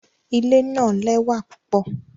Ile naa lẹwa pupọ